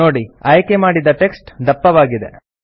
ನೋಡಿ ಆಯ್ಕೆ ಮಾಡಿದ ಟೆಕ್ಸ್ಟ್ ದಪ್ಪವಾಗಿದೆ